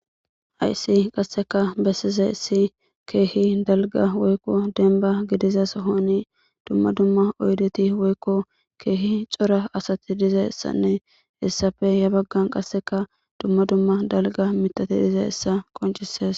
Haysi qassika bessize issi keehi dalga woykko denba gidizas sohoni dumma dumma oydeti woykko keehi cora asati diza asanne he issappe ya baggan qassika dumma dumma dalga mitati dize issa qonccisees.